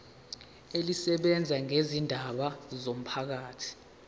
elisebenza ngezindaba zomphakathi